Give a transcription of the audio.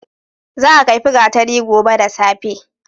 Za a kaifi gatari gobe da safe.